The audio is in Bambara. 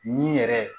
Ni yɛrɛ